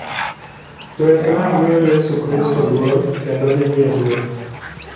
Jo-Islam miyo Yesu Kristo luor kendo gimiye duong'.